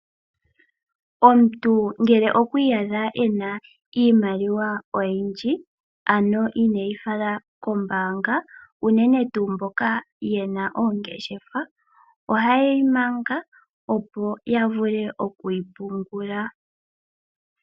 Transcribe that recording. Omuntu ngele okwi iyadha ena iimaliwa oyindji, ano ineeyifala kombaanga, unene tuu mboka yena oongeshefa, oha yeyi manga opo yavule oku yi pungula.